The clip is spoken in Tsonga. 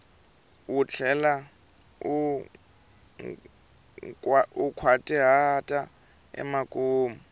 u tlhela u nkhwatihata emakumu